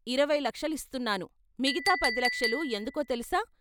ఇరవై లక్షలిస్తున్నాను మిగతా పదిలక్షలూ ఎందుకో తెలుసా?